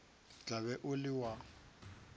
tla be o le wa